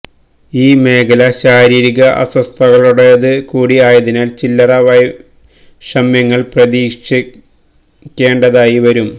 ഈ മേഖല ശാരീരിരിക അസ്വസ്തതകളുടെത് കൂടി ആയതിനാൽ ചില്ലറ വൈഷമ്യങ്ങൾ പ്രതീക്ഷിക്കെണ്ടാതായി വരും